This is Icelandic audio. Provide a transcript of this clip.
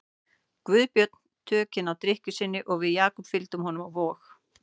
Guðbjörn tökin á drykkju sinni og við Jakob fylgdum honum á Vog.